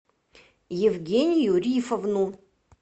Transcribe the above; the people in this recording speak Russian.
евгению рифовну